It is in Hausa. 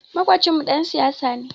Maƙocinmu ɗan siyasa ne.